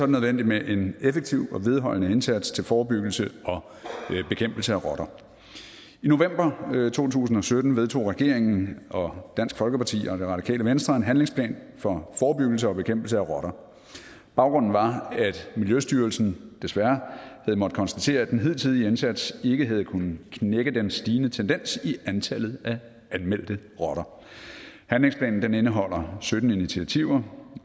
nødvendigt med en effektiv og vedholdende indsats til forebyggelse og bekæmpelse af rotter i november to tusind og sytten vedtog regeringen og dansk folkeparti og det radikale venstre en handlingsplan for forebyggelse og bekæmpelse af rotter baggrunden var at miljøstyrelsen desværre havde måttet konstatere at den hidtidige indsats ikke havde kunnet knække den stigende tendens i antallet af anmeldte rotter handlingsplanen indeholder sytten initiativer